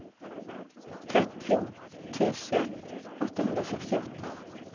trettio tusen åttahundrasextioåtta